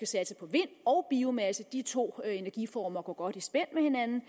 satse på vind og biomasse de to energiformer går godt i spænd med hinanden